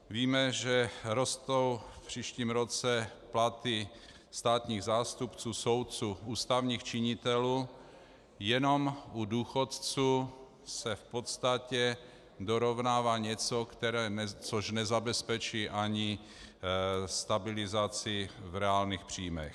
Víme, že rostou v příštím roce platy státních zástupců, soudců, ústavních činitelů, jenom u důchodců se v podstatě dorovnává něco, což nezabezpečí ani stabilizaci v reálných příjmech.